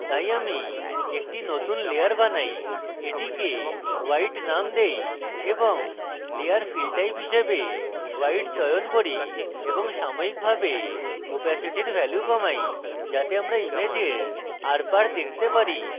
তাই আমি একটি নতুন layer বানাই এটিকে white name দেই এবং layer fill type হিসেবে white চয়ন করি এবং সাময়িকভাবে opacity value কমাই যাতে আমরা ইমেজের আরপার দেখতে পারি